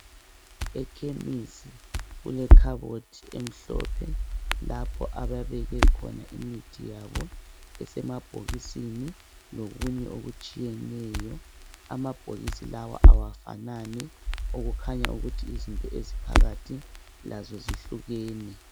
Ekhemisi kulekhabothi emhlophe lapho ababeke khona imithi yabo esemabhokisini lokunye okutshiyeneyo amabhokisi lawa awafanani okukhanya ukuthi izinto eziphakathi lazo zihlukene.